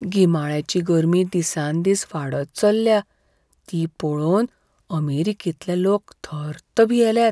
गिमाळ्याची गर्मी दिसान दीस वाडत चल्ल्या ती पळोवन अमेरिकेंतले लोक थर्त भियेल्यात.